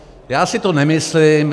Já si to nemyslím.